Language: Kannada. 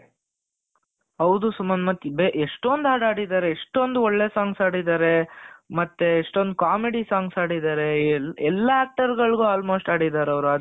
ಹೌದು ಸುಮಂತ್ ಮತ್ತೆ ಎಷ್ಟೊಂದ್ ಹಾಡು ಹಾಡಿದರೆ ಎಷ್ಟೊಂದ್ ಒಳ್ಳೆ song ಆಡಿದ್ದಾರೆ ಮತ್ತೆ ಎಸ್ಟೊಂದು comedy songs ಆಡಿದ್ದಾರೆ ಎಲ್ಲಾ ತರಗಳಿಗೂ almost ಆಡಿದ್ದಾರೆ ಅದರಿಂದನೆ